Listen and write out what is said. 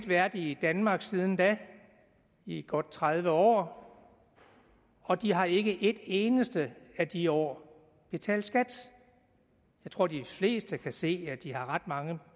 været i danmark siden da i godt tredive år og de har ikke i et eneste af de år betalt skat jeg tror de fleste kan se at de har ret mange